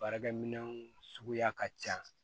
Baarakɛ minɛnw suguya ka ca